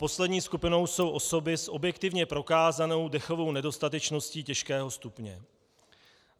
Poslední skupinou jsou osoby s objektivně prokázanou dechovou nedostatečností těžkého stupně.